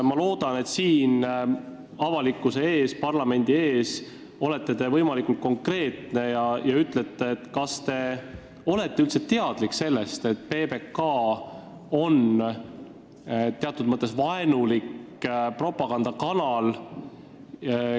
Ma loodan, et te olete siin, avalikkuse ees, parlamendi ees võimalikult konkreetne ja ütlete, kas te olete üldse teadlik sellest, et PBK on teatud mõttes vaenulik propagandakanal.